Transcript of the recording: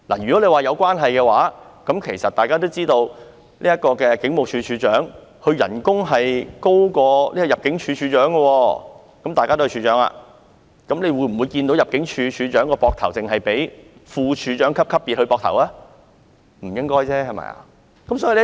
如果說這是有關係的話，大家都知道，警務處處長的薪酬是高於入境事務處處長的薪酬，大家都是處長，但我們會否看到入境事務處處長肩膊上的徽章只是副處長級的徽章呢？